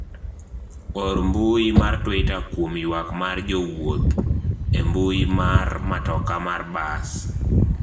or mbui mar twita kuom ywak mar jowuoth e mbui mar matoka mar bas